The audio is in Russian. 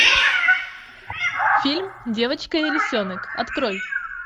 фильм девочка и лисенок открой